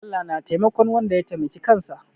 Allah na taimakon wanda ya taimaki kansa.